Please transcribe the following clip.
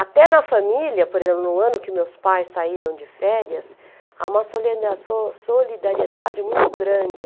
Até na família, por exemplo, no ano que meus pais saíram de férias, há uma solidá so solidariedade muito grande.